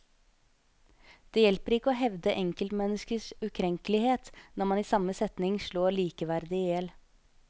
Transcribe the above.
Det hjelper ikke å hevde enkeltmenneskers ukrenkelighet når man i samme setning slår likeverdet i hjel.